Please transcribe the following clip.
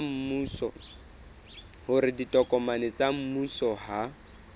hore ditokomane tsa mmuso ha